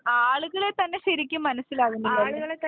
ആളുകളെ തന്നെ ശരിക്കും മനസ്സിലാകുംന്നില്ല